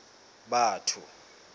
batho